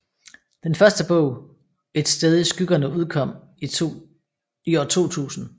Den første bog bog Et Sted I Skyggerne ukom i 2000